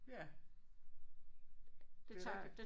Ja det er rigtigt